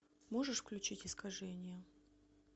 можешь включить искажение